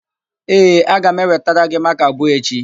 Ee, aga m ewetara gị makaa abụọ echi.